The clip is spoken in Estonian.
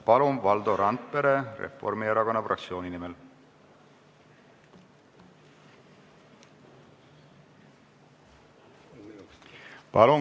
Palun, Valdo Randpere Reformierakonna fraktsiooni nimel!